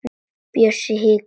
Bjössi hikar.